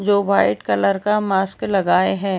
जो white colour का mask लगाए है।